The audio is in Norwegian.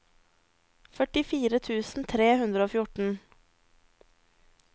førtifire tusen tre hundre og fjorten